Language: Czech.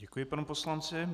Děkuji panu poslanci.